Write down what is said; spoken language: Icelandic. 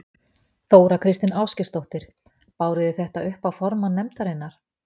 Þóra Kristín Ásgeirsdóttir: Báru þið þetta upp á formann nefndarinnar?